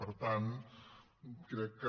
per tant crec que